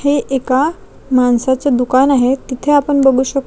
हे एका माणसाचे दुकान आहे तिथे आपण बघू शक--